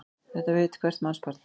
Þetta veit hvert mannsbarn.